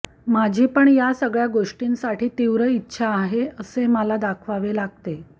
माझी पण या सगळ्या गोष्टींसाठी तीव्र इच्छा आहे असे मला दाखवावे लागते